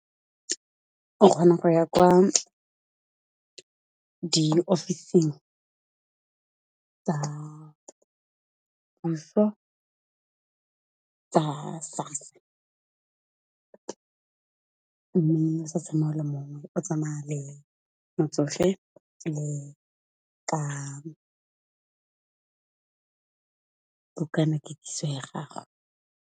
O kgona go ya kwa ke diofising tsa puso tsa SASSA, mme o sa tsamaye o le mongwe o tsamaya le motsofe le ka bukana ketsiso ya gago.